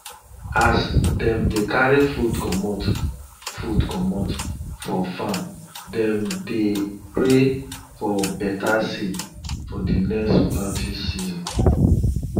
as dem dey carry food comot food comot for farm dem dey pray for better seed for d next planting season